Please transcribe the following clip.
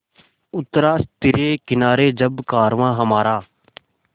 उतरा तिरे किनारे जब कारवाँ हमारा